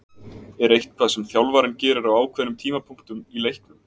Er eitthvað sem þjálfarinn gerir á ákveðnum tímapunktum í leiknum?